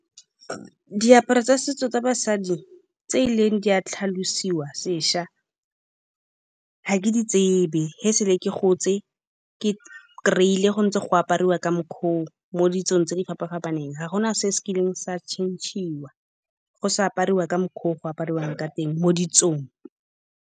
Diaparo tsa setso tsa basadi tse e leng di a tlhalosiwa sešwa, ga ke di tsebe. Ge se le ke gotse, ke kry-ile go ntse go apariwa ka mokgwa oo mo ditsong tse di fapa-fapaneng. Ga gona se se kileng sa change-iwa go se apariwa ka mokgwa o go apariwang ka teng mo ditsong.